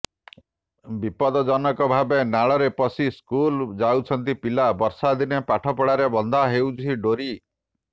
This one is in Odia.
ବିପଦଜନକ ଭାବେ ନାଳରେ ପଶି ସ୍କୁଲ ଯାଉଛନ୍ତି ପିଲା ବର୍ଷା ଦିନେ ପାଠପଢ଼ାରେ ବନ୍ଧା ହେଉଛି ଡୋରି